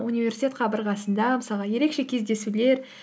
университет қабырғасында мысалға ерекше кездесулер